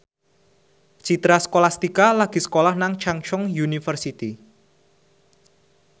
Citra Scholastika lagi sekolah nang Chungceong University